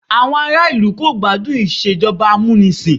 Àwọn ará ìlú kò gbádùn Ìṣèjọba amúnisìn